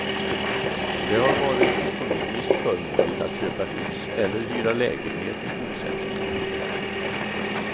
Det har varit ekonomiskt förmånligt att köpa hus eller hyra lägenhet i bosättningarna.